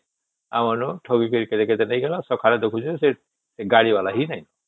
ଆମର ଠକି କରି କେତେ ନେଇଗଲା ଆଉ ସକଳେ ଦେଖିଲୁ ସେ ଗାଡି ଵାଲା ହିଁ ନାହିଁ